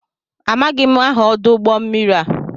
Amaghị m aha ọdụ ụgbọ mmiri a.